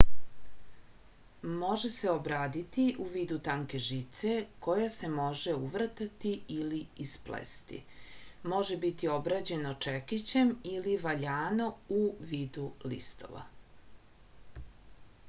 može se obraditi u vidu tanke žice koja se može uvrtati ili isplesti može biti obrađeno čekićem ili valjano u vidu listova